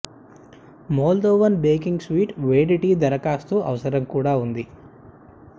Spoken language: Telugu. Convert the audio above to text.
మోల్దోవన్ బేకింగ్ స్వీట్ వేడి టీ దరఖాస్తు అవసరం కూడా ఉంది